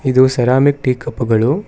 ಇದು ceramic tea cup ಗಳು.